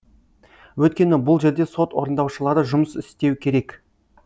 өйткені бұл жерде сот орындаушылары жұмыс істеу керек